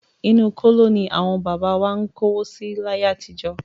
Inú kóló ní àwọn bàbá wa má ń kówó si láyé àtijọ́.